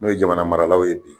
N' o ye jamana maralaw ye .